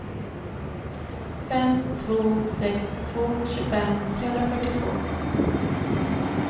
fem två sex två tjugofem trehundrafyrtiotvå